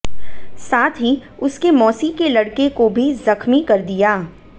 साथ ही उसके मोसी के लड़के को भी जख्मी कर दिया